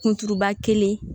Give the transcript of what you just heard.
Kunturuba kelen